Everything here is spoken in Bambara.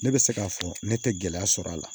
Ne bɛ se k'a fɔ ne tɛ gɛlɛya sɔrɔ a la